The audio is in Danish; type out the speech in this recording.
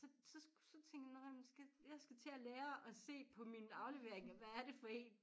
Så så så tænkte jeg nåh men skal jeg skal til at lære at se på mine afleveringer hvad er det for én